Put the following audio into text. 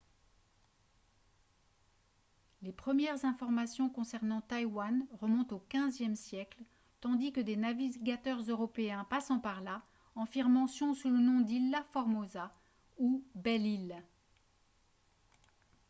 les premières informations concernant taïwan remontent au xve siècle tandis que des navigateurs européens passant par là en firent mention sous le nom d’ilha formosa ou « belle île »